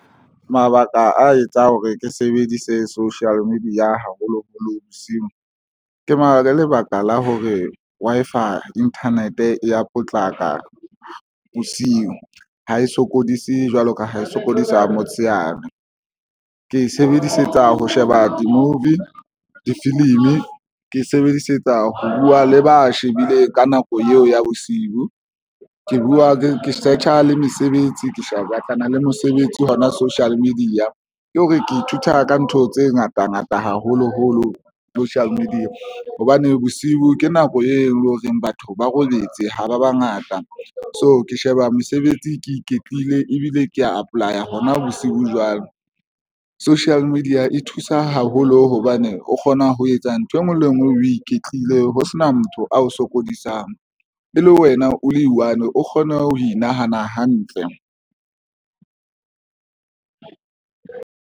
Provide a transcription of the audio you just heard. Mabaka a etsang hore ke sebedise social media haholo holo bosiu ke lebaka la hore Wi-Fi internet e ya potlaka bosiu ha e sokodise jwalo ka ha e sokodisa motsheare. Ke sebedisetsa ho sheba di-movie, difilimi, ke sebedisetsa ho buwa le ba shebile ka nako eo ya bosiu, ke buwa ke search-a le mesebetsi, ke shebe batlana le mosebetsi hona social media ke hore ke ithuta ka ntho tse ngata ngata, haholoholo social media hobane bosiu ke nako e leng hore batho ba robetse ha ba bangata. So ke sheba mosebetsi ke iketlile ebile ke ya apply-a hona bosiu jwalo. Social media e thusa haholo hobane o kgona ho etsa ntho engwe le engwe o iketlile ho sena motho ao sokodisang e le wena o le one o kgone ho inahane hantle.